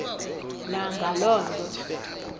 na ngaloo nto